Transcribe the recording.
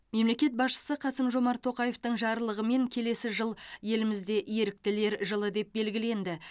мемлекет басшысы қасым жомарт тоқаевтың жарлығымен келесі жыл елімізде еріктілер жылы деп белгіленді